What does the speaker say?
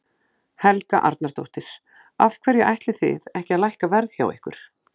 Helga Arnardóttir: Af hverju ætlið þið ekki að lækka verð hjá ykkur?